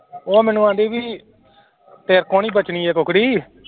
ਉਹ ਮੈਨੂੰ ਕਹਿੰਦੀ ਵੀ ਤੇਰੇ ਕੋਲੋਂ ਨੀ ਬਚਣੀ ਇਹ ਕੁੱਕੜੀ